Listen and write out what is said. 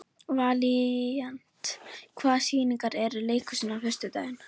Valíant, hvaða sýningar eru í leikhúsinu á föstudaginn?